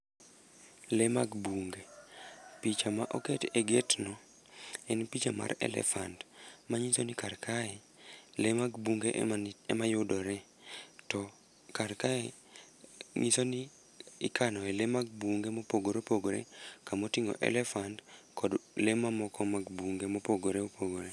Lee mag bunge. Picha ma oket e gate no en picha mar elephant, manyiso ni kar kae lee mag bunge ema ema yudore. To kar kae nyisoni ikanoe lee mag bunge mopogore opogore kama otingó elephant, kod le mamoko mag bunge mopogore opogore.